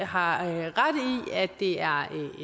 har ret i at det er